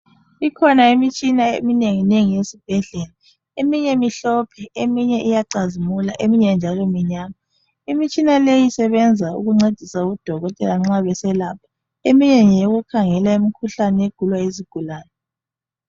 Ikhona imitshina eminenginengi esibhedlela, eminye mihlophe eminye iyacazimula eminye njalo minyama. Imitshina leyi isebenza ukuncedisa odokotela nxa beselapha, eminye ngeyokukhangela imikhuhlane egulwa yizigulane.